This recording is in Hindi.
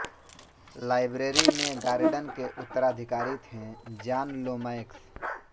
लाइब्रेरी में गॉर्डन के उत्तराधिकारी थे जॉन लोमैक्स